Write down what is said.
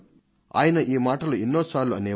ఆయన ఇదే సంగతిని ప్రతి సారి మళ్లీ మళ్లీ చెప్తుండే వారు